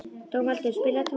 Dómaldur, spilaðu tónlist.